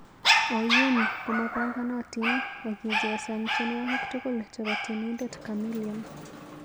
Oyuum komopanganatin akichesan tyenwogik tugul chebo tyenindet kamilion